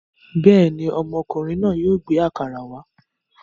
Bẹ́ẹ̀ ni, ọmọkùnrin náà yóò gbé àkàrà wá.